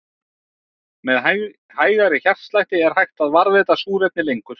Með hægari hjartslætti er hægt að varðveita súrefni lengur.